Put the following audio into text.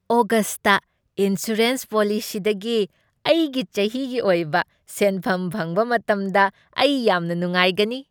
ꯑꯣꯒꯁꯠꯇ insurance ꯄꯣꯂꯤꯁꯤꯗꯒꯤ ꯑꯩꯒꯤ ꯆꯍꯤꯒꯤ ꯑꯣꯏꯕ ꯁꯦꯟꯐꯝ ꯐꯪꯕ ꯃꯇꯝꯗ ꯑꯩ ꯌꯥꯝꯅ ꯅꯨꯡꯉꯥꯏꯒꯅꯤ꯫